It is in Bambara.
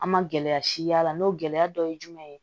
An ma gɛlɛya si y'a la n'o gɛlɛya dɔ ye jumɛn ye